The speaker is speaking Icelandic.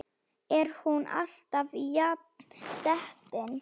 Er hún alltaf jafn dettin?